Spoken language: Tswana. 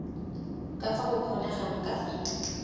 ka fa go kgonegang ka